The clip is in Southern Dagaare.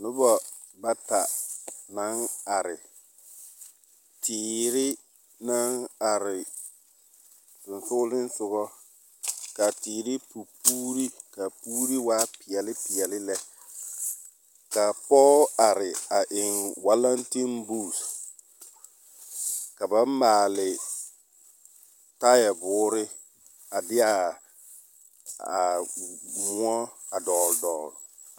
Nobɔ bata naŋ are, teere naŋ are sonsogelesogɔ k'a teere pu puuri ka puuri waa peɛle peɛle lɛ. K'a pɔɔ are a eŋ walentembuuse, ka ba maale taayɛ boore a de'a a moɔ a dɔɔl dɔɔl.